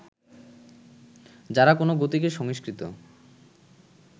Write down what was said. যাঁরা কোনো গতিকে সংস্কৃত